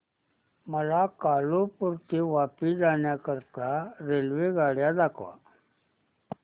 मला कालुपुर ते वापी जाण्या करीता रेल्वेगाड्या दाखवा